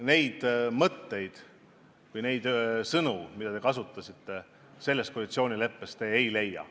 Neid mõtteid või neid sõnu, mida te kasutasite, te koalitsioonileppes ei leia.